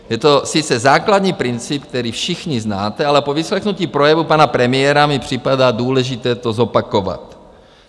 Je to sice základní princip, který všichni znáte, ale po vyslechnutí projevu pana premiéra mi připadá důležité to zopakovat.